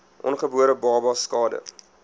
ongebore babas skade